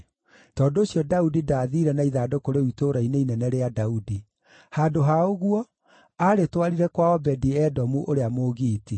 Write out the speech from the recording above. Tondũ ũcio Daudi ndaathiire na ithandũkũ rĩu Itũũra-inĩ Inene rĩa Daudi. Handũ ha ũguo, aarĩtwarire kwa Obedi-Edomu ũrĩa Mũgiiti.